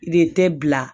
I de tɛ bila